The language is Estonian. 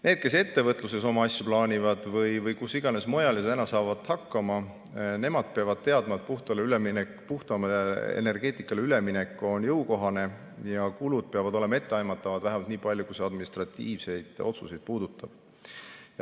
Need, kes plaanivad oma asju ettevõtluses või kus iganes mujal ja saavad täna hakkama, nemad peavad teadma, et puhtamale energeetikale üleminek on jõukohane ja kulud peavad olema etteaimatavad vähemalt nii palju, kui see administratiivseid otsuseid puudutab.